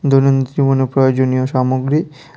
দৈনন্দিন জীবনের প্রয়োজনীয় সামগ্রী--